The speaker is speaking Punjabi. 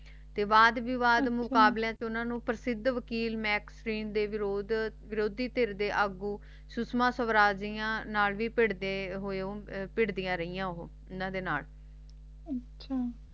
ਤੇ ਬਾਦ ਤੋਂ ਉਨ੍ਹਾਂ ਨੂੰ ਦੇ ਭਰਿਦੇ ਰਹਿ ਹੋ ਇਨ੍ਹਾਂ ਦੇ ਨਾਲ ਆਚਾ